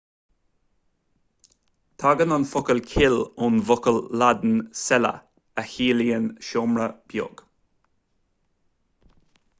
tagann an focal cill ón bhfocal laidin cella a chiallaíonn seomra beag